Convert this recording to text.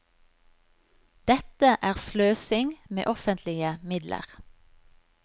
Dette er sløsing med offentlige midler.